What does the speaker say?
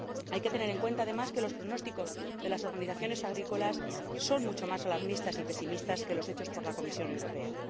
Hay que tener en cuenta, además, que los pronósticos de las organizaciones agrícolas son mucho más alarmistas y pesimistas que los hechos por la Comisión Europea.